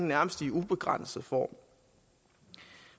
nærmest i ubegrænset form